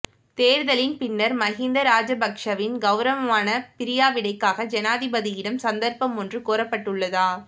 தேர்தலின் பின்னர் மஹிந்த ராஜபக்சவின் கௌரவமான பிரியாவிடைக்காக ஜனாதிபதியிடம் சந்தர்ப்பம் ஒன்று கோரப்பட்டுள்ளதா